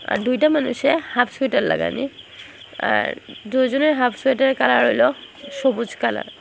আর দুইটা মানুষে half sweater লাগানি আর দুইজনে হাফ সোয়েটারের কালার হইল সবুজ কালার ।